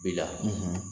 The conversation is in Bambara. Bila